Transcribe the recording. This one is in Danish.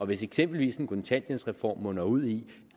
hvis eksempelvis en kontanthjælpsreform munder ud i